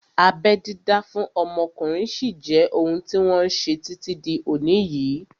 Abẹ́ dídá fún ọmọkùnrin sí jẹ́ ohun tí wọ́n ṣe títí di òní yìí